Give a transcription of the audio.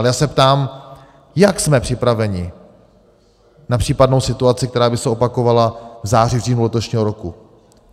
Ale já se ptám: Jak jsme připraveni na případnou situaci, která by se opakovala v září, říjnu letošního roku?